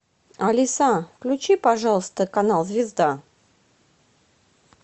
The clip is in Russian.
алиса включи пожалуйста канал звезда